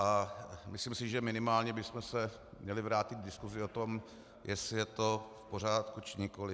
A myslím si, že minimálně bychom se měli vrátit k diskuzi o tom, jestli je to v pořádku, či nikoliv.